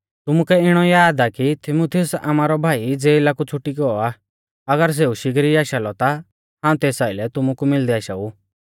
तुमुकै इणौ याद आ कि तीमुथियुस आमारौ भाई ज़ेला कु छ़ुटी गौ आ अगर सेऊ शिगरी आशा लौ ता हाऊं तेस आइलै तुमु कु मिलदै आशाऊ